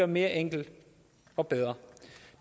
mere enkel og bedre og